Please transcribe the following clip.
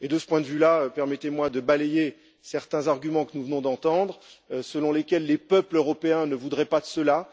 De ce point de vue là, permettez moi de balayer certains arguments que nous venons d'entendre, selon lesquels les peuples européens ne voudraient pas de cela.